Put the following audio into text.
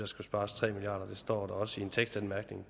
skulle spares tre milliard kroner det står der også i en tekstanmærkning